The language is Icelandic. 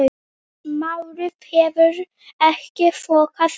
Málið hefur ekkert þokast áfram.